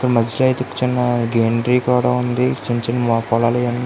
ఇక మధ్యలో అయితే చిన్న గ్రీనరీ కూడా ఉంది. చిన్న చిన్న పొలాలు ఇవి అని --